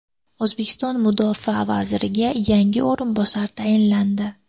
O‘zbekiston mudofaa vaziriga yangi o‘rinbosar tayinlandi.